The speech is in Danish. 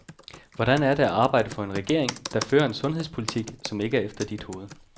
Hvordan er det at arbejde for en regering, der fører en sundhedspolitik, som ikke er efter dit hoved?